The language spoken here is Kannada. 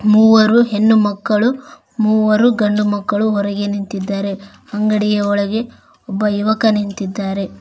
ಮೂವರು ಹೆಣ್ಣು ಮಕ್ಕಳು ಅವರು ಗಂಡು ಮಕ್ಕಳು ಹೊರಗೆ ನಿಂತಿದ್ದಾರೆ ಅಂಗಡಿಯ ಒಳಗೆ ಒಬ್ಬ ಯುವಕ ನಿಂತಿದ್ದಾನೆ.